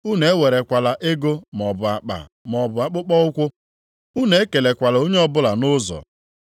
Unu ewerekwala ego maọbụ akpa maọbụ akpụkpọụkwụ. Unu ekelekwala onye ọbụla nʼụzọ.